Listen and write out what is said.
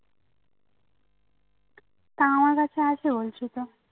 তা আমার কাছে আছে বলছি তো